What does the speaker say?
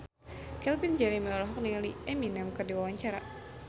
Calvin Jeremy olohok ningali Eminem keur diwawancara